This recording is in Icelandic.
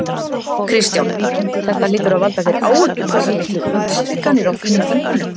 Kristján: Þetta hlýtur að valda þér áhyggjum þessar miklu útstrikanir á þínum þingmönnum?